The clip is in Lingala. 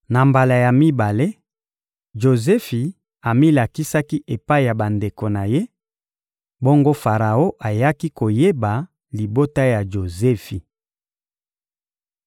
Na mbala ya mibale, Jozefi amilakisaki epai ya bandeko na ye, bongo Faraon ayaki koyeba libota ya Jozefi.